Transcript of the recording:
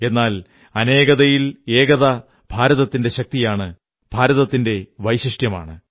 എന്നാൽ അനേകതയിൽ ഏകത ഭാരതത്തിന്റെ ശക്തിയാണ് ഭാരതത്തിന്റെ വൈശിഷ്ട്യമാണ്